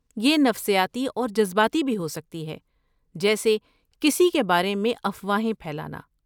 یہ نفسیاتی اور جذباتی بھی ہو سکتی ہے جیسے کسی کے بارے میں افواہیں پھیلانا۔